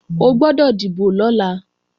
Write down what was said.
O gbọ́dọ̀ dìbò lọ́la